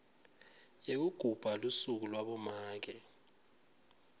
yekugubha lusuku labomake